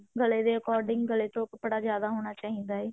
ਗਲੇ ਤੋਂ according ਗਲੇ ਤੋਂ ਕੱਪੜਾ ਜਿਆਦਾ ਹੋਣਾ ਚਾਹਿਦਾ ਏ